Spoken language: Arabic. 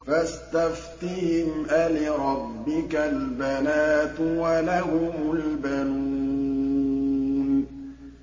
فَاسْتَفْتِهِمْ أَلِرَبِّكَ الْبَنَاتُ وَلَهُمُ الْبَنُونَ